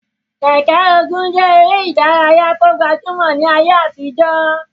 Keke-Ogun je ere idaraya ti o gbajumo ni aye atijo.